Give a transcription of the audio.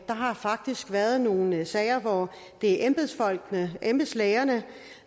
har faktisk været nogle sager hvor det er embedsfolkene embedslægerne